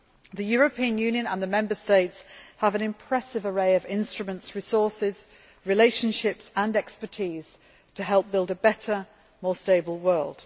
The European Union and the Member States have an impressive array of instruments, resources, relationships and expertise to help build a better, more stable world.